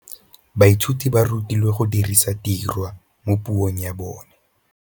Baithuti ba rutilwe go dirisa tirwa mo puong ya bone.